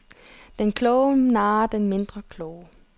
Den kloge narrer den mindre kloge.